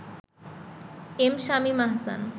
M Shamim Ahsan